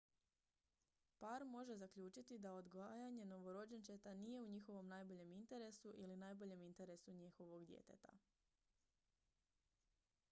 par može zaključiti da odgajanje novorođenčeta nije u njihovom najboljem interesu ili najboljem interesu njihovog djeteta